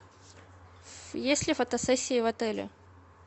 есть ли фотосессии в отеле